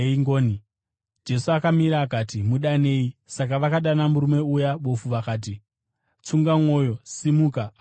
Jesu akamira akati, “Mudanei.” Saka vakadana murume uya bofu vakati, “Tsunga mwoyo! Simuka! Anokudana.”